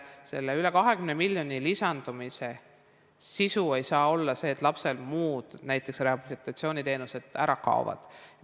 Selle üle 20 miljoni lisandumise sisu ei saa olla see, et lapsel muud teenused, näiteks rehabilitatsiooniteenused, ära kaovad.